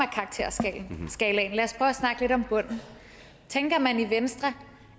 af at snakke lidt om bunden tænker man virkelig i venstre